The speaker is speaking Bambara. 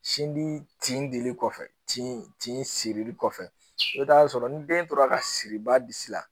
Sin di tin dili kɔfɛ tin sirili kɔfɛ i bɛ taa sɔrɔ ni den tora ka siri ba bisi la